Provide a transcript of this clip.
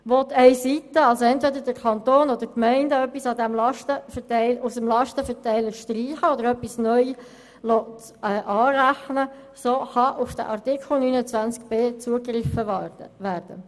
Will eine Seite etwas aus dem Lastenverteiler streichen oder etwas neu anrechnen lassen will, so kann auf den Artikel 29b zugegriffen werden.